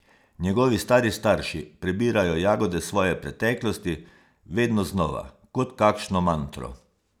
Njegovi stari starši prebirajo jagode svoje preteklosti, vedno znova, kot kakšno mantro.